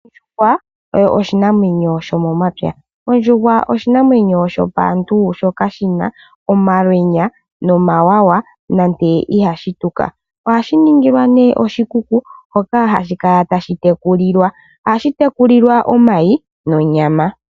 Ondjuhwa oyo oshinamwenyo shomomapya. Ondjuhwa oshinamwenyo shopaantu shoka shina omalwenya nomawawa, nande ihashi tuka. Ohashi ningilwa nee oshikuku hoka hashi kala tashi tekulilwa. Ohashi tekulilwa omayi, nonyama.